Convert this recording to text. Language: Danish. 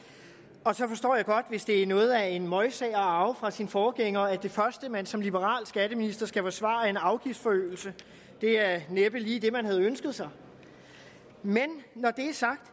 og så forstår jeg godt hvis det er noget af en møgsag at arve fra sin forgænger at det første man som liberal skatteminister skal forsvare er en afgiftsforøgelse det er vel næppe lige det man havde ønsket sig men når det er sagt